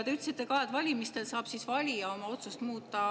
Te ütlesite ka, et valimistel saab valija oma otsust muuta.